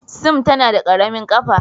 Sim tana da ƙaramin ƙafa.